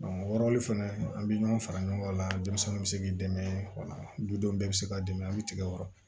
o wɔɔrɔli fɛnɛ an bɛ ɲɔgɔn fara ɲɔgɔn kan denmisɛnnin bɛ se k'i dɛmɛ o la dudenw bɛɛ bɛ se k'a dɛmɛ hali tigɛ kɔrɔ